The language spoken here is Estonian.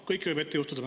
Kõike võib juhtuda.